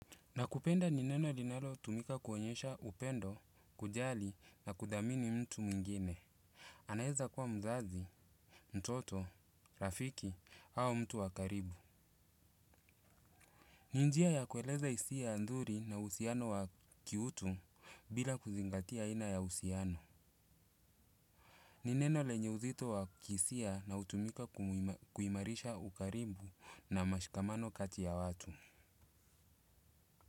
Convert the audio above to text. Nakupenda nineno linalo tumika kuonyesha upendo, kujali na kudhamini mtu mwingine. Anaeza kuwa mzazi, mtoto, rafiki au mtu wakaribu. Ninjia ya kueleza hisia nzuri na uhusiano wa kiutu bila kuzingatia aina ya usiano. Nineno lenye uzito wa kihisia na utumika kuimarisha ukaribu na mashikamano kati ya watu.